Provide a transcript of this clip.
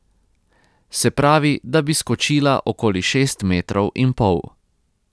Se pravi, da bi skočila okoli šest metrov in pol.